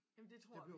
Jamen det tror vi